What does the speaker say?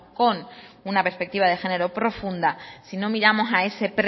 con una perspectiva de género profunda si no miramos a ese